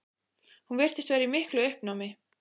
Hún virtist vera í miklu uppnámi.